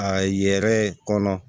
A yɛrɛ kɔnɔ